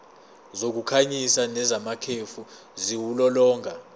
zokukhanyisa nezamakhefu ziwulolonga